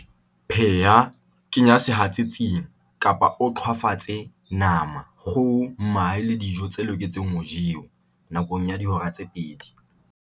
Pheha, kenya sehatsetsing, kapa o qhwafatse nama, kgoho, mahe le dijo tse loketseng ho jewa, nakong ya dihora tse pedi